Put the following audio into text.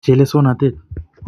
chelesonatet.